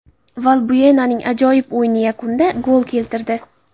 Valbuenaning ajoyib o‘yini yakunda gol keltirdi.